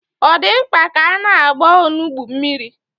Ọ dị mkpa ka a na-agba onugbu mmiri?